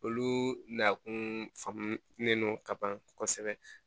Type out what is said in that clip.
Olu na kun faamulen no ka ban kosɛbɛ